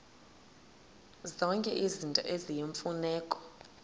zonke izinto eziyimfuneko